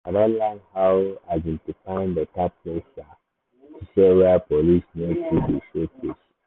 i don learn how um to find better place um to sell where police no too dey show face. um